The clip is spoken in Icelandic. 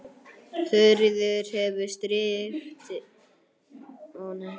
Þuríður hefur styrkt liðið mikið.